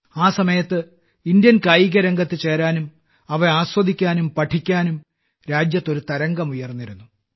ആ സമയത്ത് ഇന്ത്യൻ കായികരംഗത്ത് ചേരാനും അവ ആസ്വദിക്കാനും പഠിക്കാനും രാജ്യത്ത് ഒരു തരംഗം ഉയർന്നിരുന്നു